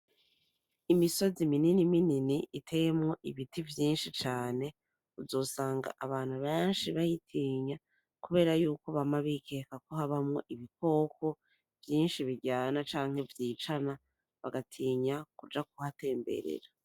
Imisozi minini minini iteyemwo ibiti vyinshi cane uzosanga abantu benshi bayitinya kuberayuko bama bikeka ko habamwo ibikoko vyinshi biryana canke vyicana bagatinya kuja kuhatemberera.